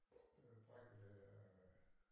Brækkede øh